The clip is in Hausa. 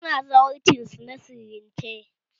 Su na zawarcin su a sirrance